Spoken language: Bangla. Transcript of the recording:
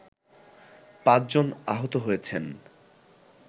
৫ জন আহত হয়েছেন